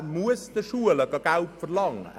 Er muss von den Schulen Geld verlangen.